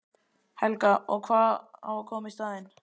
Helga: Og hvað á að koma í staðinn?